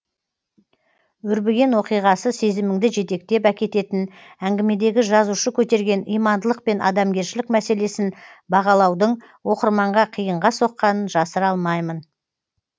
өрбіген оқиғасы сезіміңді жетектеп әкететін әңгімедегі жазушы көтерген имандылық пен адамгершілік мәселесін бағалаудың оқырманға қиынға соққанын жасыра алмаймын